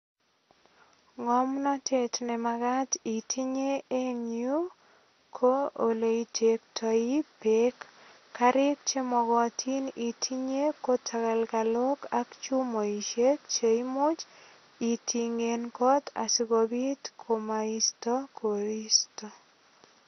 Ngomnetet ne magat itinye eng yu, ko oleitektoi beek. Karik chemogotin itinye ko tagalgalok ak chumoisiek che imuch itingen kot asigopit komoisto koristo.